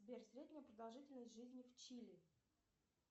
сбер средняя продолжительность жизни в чили